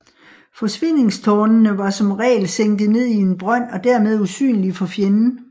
Forsvindingstårnene var som regel sænket ned i en brønd og dermed usynlige for fjenden